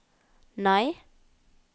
nei